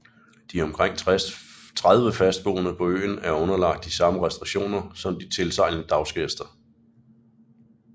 De omkring 30 fastboende på øen er underlagt de samme restriktioner som de tilsejlende dagsgæster